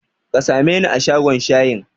Ka sameni a shagon shayin?